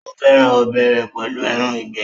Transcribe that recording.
ó fẹ́ràn ọbẹ̀ rẹ̀ pẹ̀lú ẹran ìgbẹ́.